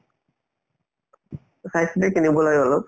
খেলিব লাগে অলপ